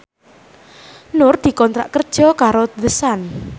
Nur dikontrak kerja karo The Sun